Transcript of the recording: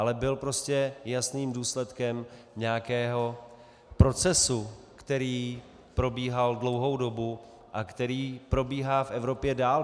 Ale byl prostě jasným důsledkem nějakého procesu, který probíhal dlouhou dobu a který probíhá v Evropě dál.